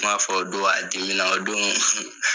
U kuma'a fɔ o don a dimina o don,